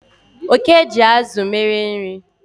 Oke ji azụ mere nri